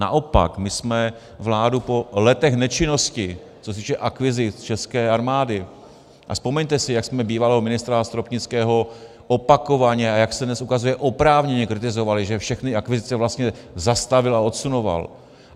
Naopak, my jsme vládu po letech nečinnosti, co se týče akvizic české armády, a vzpomeňte si, jak jsme bývalého ministra Stropnického opakovaně, a jak se dnes ukazuje, oprávněně kritizovali, že všechny akvizice vlastně zastavil a odsunoval.